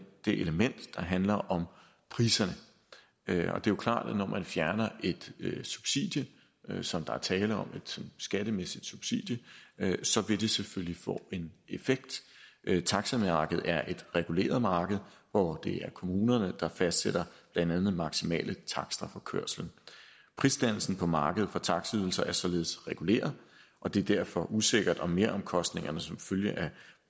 element der handler om priserne det er jo klart at når man fjerner et subsidie som der er tale om et skattemæssigt subsidie så vil det selvfølgelig få en effekt taxamarkedet er et reguleret marked hvor det er kommunerne der fastsætter blandt andet maksimale takster for kørslen prisdannelsen på markedet for taxaydelser er således reguleret og det er derfor usikkert om meromkostningerne som følge af